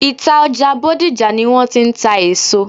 Ìta ọjà Bódìjà ni wọ́n ti ń ta èso.